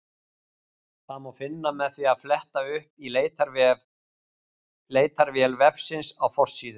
Það má finna með því að fletta upp í leitarvél vefsins á forsíðu.